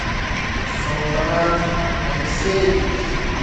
салтанат алексеевич